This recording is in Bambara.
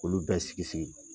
K'ulu bɛɛ sigi sigi.